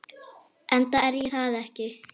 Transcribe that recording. Enda er ég það ekki.